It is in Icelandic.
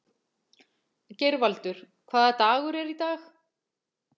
Geirvaldur, hvaða dagur er í dag?